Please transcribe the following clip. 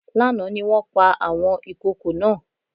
Lánàá ni wọ́n pa àwọn ìkokò náà